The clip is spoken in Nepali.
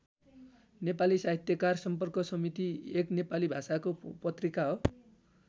नेपाली साहित्यकार सम्पर्क समिति एक नेपाली भाषाको पत्रिका हो।